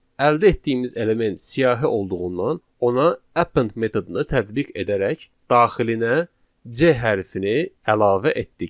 Əldə etdiyimiz element siyahı olduğundan ona append metodunu tətbiq edərək daxilinə C hərfini əlavə etdik.